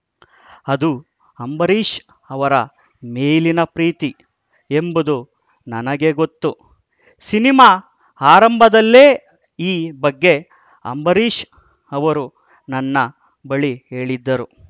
ಅದು ಅಂಬರೀಶ್‌ ಅವರ ಮೇಲಿನ ಪ್ರೀತಿ ಎಂಬುದು ನನಗೆ ಗೊತ್ತು ಸಿನಿಮಾ ಆರಂಭದಲ್ಲೇ ಈ ಬಗ್ಗೆ ಅಂಬರೀಶ್‌ ಅವರು ನನ್ನ ಬಳಿ ಹೇಳಿದ್ದರು